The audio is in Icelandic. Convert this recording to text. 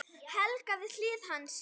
Helga við hlið hans.